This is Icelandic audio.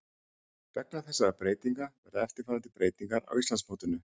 Vegna þessarar breytingar verða eftirfarandi breytingar á Íslandsmótinu: